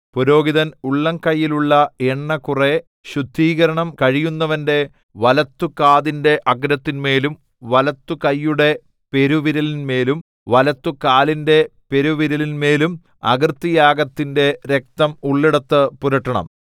പുരോഹിതൻ ഉള്ളംകൈയിലുള്ള എണ്ണ കുറെ ശുദ്ധികരണം കഴിയുന്നവന്റെ വലത്തുകാതിന്റെ അഗ്രത്തിന്മേലും വലത്തുകൈയുടെ പെരുവിരലിന്മേലും വലത്തുകാലിന്റെ പെരുവിരലിന്മേലും അകൃത്യയാഗത്തിന്റെ രക്തം ഉള്ളിടത്ത് പുരട്ടണം